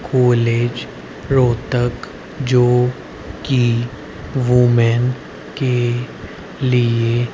college Rohtak जो कि women के लिए--